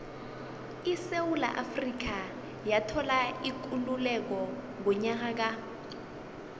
isewula afrika yathola ikululeko ngonyaka ka